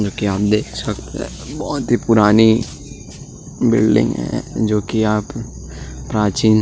जो की आप देख सकते है बहोत ही पुरानी बिलडिंग है जो की आप प्राचीन --